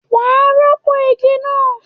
Wàá rọ́pọ̀ igi náà!